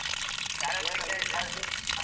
ಏನಕ್ಲೆ party ?